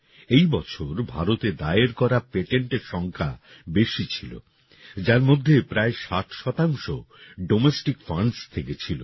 এই বছর ভারতে দায়ের করা পেটেন্টের সংখ্যা বেশি ছিল যার মধ্যে প্রায় ৬০ ডোমেস্টিক ফান্ডস থেকে ছিল